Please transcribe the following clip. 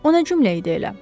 O nə cümlə idi elə?